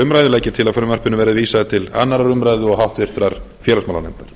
umræðu legg ég til að frumvarpinu verði vísað til annarrar umræðu og háttvirtur félagsmálanefndar